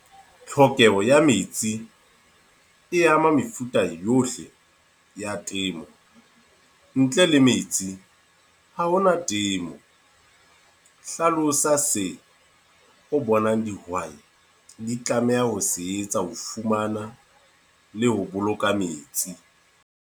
Tlhokeho ya metsi, e ama mefuta yohle ya temo. Ntle le metsi, ha hona temo. Hlalosa se o bonang dihwai di tlameha ho se etsa ho fumana le ho boloka metsi.